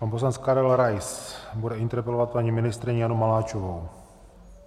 Pan poslanec Karel Rais bude interpelovat paní ministryni Janu Maláčovou.